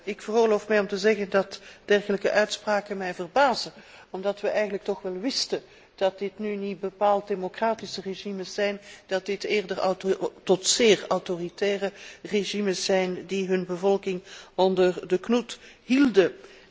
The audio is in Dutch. Ik veroorloof mij te zeggen dat dergelijke uitspraken mij verbazen, omdat wij eigenlijk toch wel wisten dat dit nu niet bepaald democratische regimes zijn, dat dit eerder autoritaire tot zeer autoritaire regimes zijn die hun bevolking onder de knoet houden.